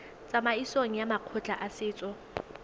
tsamaisong ya makgotla a setso